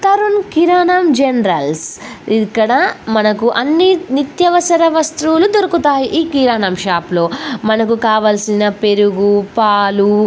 తరుణ్ కిరాణం జనరలస్ ఇక్కడ మనకు అన్ని నిత్యవసర వస్తువులు దొరుకుతాయి ఈ కిరాణం షాపులో మనకు కావలసిన పెరుగు పాలు--